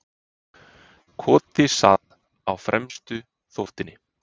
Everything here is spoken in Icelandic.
Koti sat á fremstu þóftunni.